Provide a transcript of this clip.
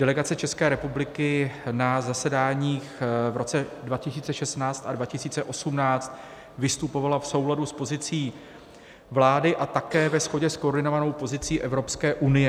Delegace České republiky na zasedáních v roce 2016 a 2018 vystupovala v souladu s pozicí vlády a také ve shodě s koordinovanou pozicí Evropské unie.